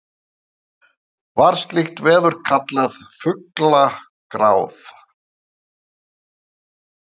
Var slíkt veður kallað fuglagráð.